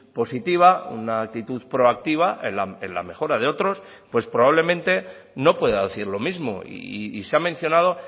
positiva una actitud proactiva en la mejora de otros pues probablemente no pueda decir lo mismo y se ha mencionado